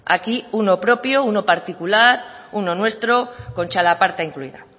aquí uno propio uno particular uno nuestro con txalaparta incluida